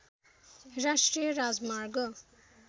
राष्ट्रिय राजमार्ग